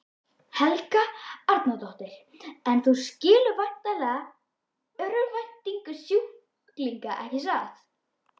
Helga Arnardóttir: En þú skilur væntanlega örvæntingu sjúklinga ekki satt?